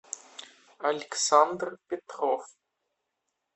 александр петров